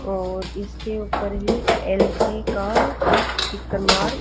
और इसके ऊपर ये एल_जी का --